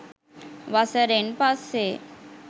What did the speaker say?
වසරෙන් පස්සේ